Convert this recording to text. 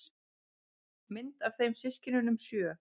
Mynd af þeim systkinunum sjö.